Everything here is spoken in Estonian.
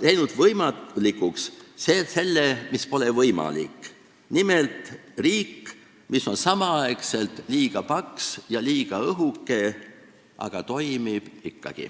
teinud võimalikuks selle, mis pole võimalik: nimelt riigi, mis on samal ajal liiga paks ja liiga õhuke, aga toimib ikkagi.